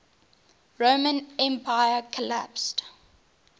roman empire collapsed